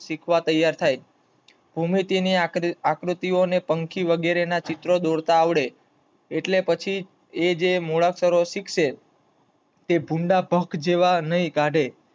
શીખવા તૈયાર થાય. ભૂમિતિ ની આકૃતિ ને પંખી વગેરે ના ચૈત્રી દોરતા આવડે એટલે જે પછી મોળસરો શીખશે. એ ભુંદભક જેવા નૈં કાઢે